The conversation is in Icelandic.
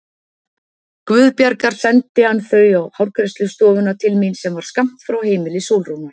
Guðbjargar sendi hann þau á hárgreiðslustofuna til mín sem var skammt frá heimili Sólrúnar.